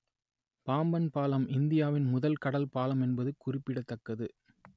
பாம்பன் பாலம் இந்தியாவின் முதல் கடல் பாலம் என்பது குறிப்பிடத்தக்கது